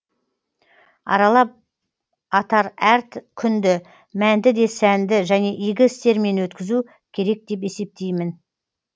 аралап атар әр күнді мәнді де сәнді және игі істермен өткізу керек деп есептеймін